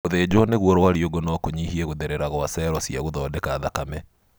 Gũthĩnjwo nĩguo rwariũngũ no kũnyihie gũtherera gwa cero cia gũthondeka thakame